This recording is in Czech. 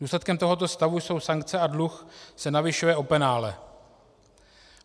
Důsledkem tohoto stavu jsou sankce a dluh se navyšuje o penále.